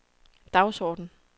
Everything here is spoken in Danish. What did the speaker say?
dagsorden